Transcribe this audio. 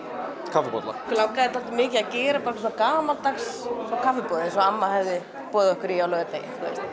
kaffibolla okkur langaði dálítið mikið að gera bara gamaldags kaffiboð eins og amma hefði boðið okkur í á laugardegi